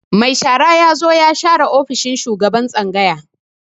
Mai shara ya zo ya share ofishin shugaban tsangaya.